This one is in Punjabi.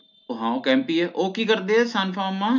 ਓ ਹਾਂ ਉਹ camp ਹੀ ਏ ਓ ਕਿ ਕਰਦੇ ਆ ਸਨਫਾਰਮਾ